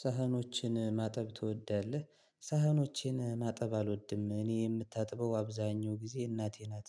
ሳህኖችን ማጠብ ትወዳለህ? ሳህኖችን ማጠብ አልወድም እኔ የምታጥበው አብዛኛው ጊዜ እናቴ ናት።